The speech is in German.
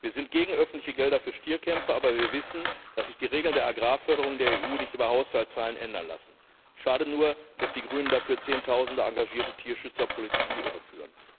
Wir sind gegen öffentliche Gelder für Stierkämpfe, aber wir wissen, dass sich die Regeln der Agrarförderung der EU nicht über Haushaltszahlen ändern lassen. Schade nur, dass die Grünen dafür Zehntausende engagierte Tierschützer politisch in die Irre führen.